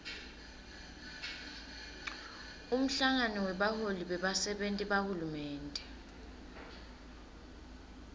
umhlangano webaholi bebasenti bahulumende